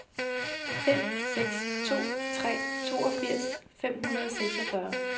fem seks to tre toogfirs fem hundrede og seksogfyrre